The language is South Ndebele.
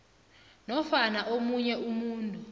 nofana omunye umuntu